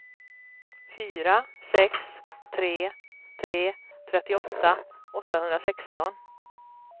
fyra sex tre tre trettioåtta åttahundrasexton